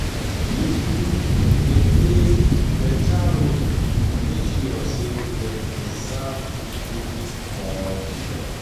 These groups dey play dey play better role to make sure sey dem preserve pipo culture